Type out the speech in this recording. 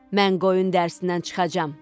Mən qoyun dərsindən çıxacağam.